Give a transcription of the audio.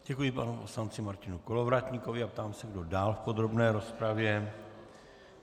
Děkuji panu poslanci Martinu Kolovratníkovi a ptám se, kdo dál v podrobné rozpravě.